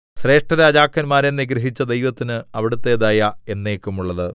ശ്രേഷ്ഠരാജാക്കന്മാരെ നിഗ്രഹിച്ച ദൈവത്തിന് അവിടുത്തെ ദയ എന്നേക്കുമുള്ളത്